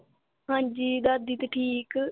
ਹਾਂਜੀ, ਦਾਦੀ ਤੇ ਠੀਕ